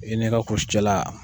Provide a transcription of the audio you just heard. I ni kulusijala.